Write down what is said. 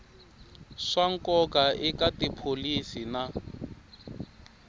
swa nkoka eka tipholisi na